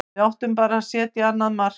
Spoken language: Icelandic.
Við áttum bara að setja annað mark.